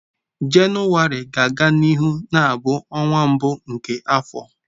Jenụwarị ga-aga n'ihu na-abụ ọnwa mbụ nke afọ.